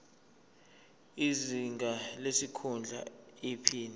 izinga lesikhundla iphini